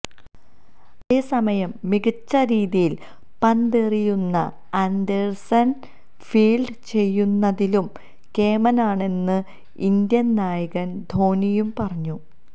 അതേസമയം മികച്ച രീതിയില് പന്തെറിയുന്ന ആന്ഡേഴ്സണ് ഫീല്ഡ് ചെയ്യുന്നതിലും കേമനാണെന്ന് ഇന്ത്യന് നായകന് ധോണിയും പറഞ്ഞു